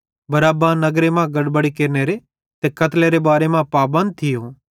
बरअब्बा नगर मां गड़बड़ी केरनेरे ते कतलेरे बारे मां पाबंद भोरो थियो